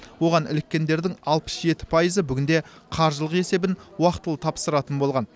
оған іліккендердің алпыс жеті пайызы бүгінде қаржылық есебін уақытылы тапсыратын болған